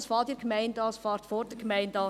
Dies beginnt in der Gemeinde, vor der Gemeinde;